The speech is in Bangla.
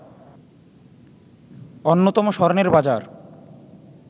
অন্যতম স্বর্ণের বাজার